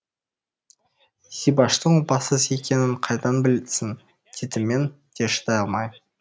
зибаштың опасыз екенін қайдан білсін дедім мен де шыдай алмай